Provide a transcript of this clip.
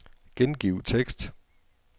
Gengiv tekst.